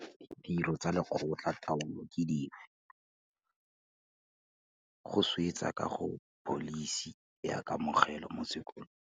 Ditiro tsa lekgotla taolo ke dife? Go swetsa ka ga pholisi ya kamogelo mo sekolo.